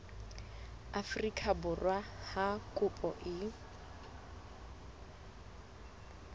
afrika borwa ha kopo e